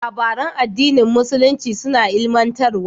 Labaran addinin musulunci suna ilimantarwa.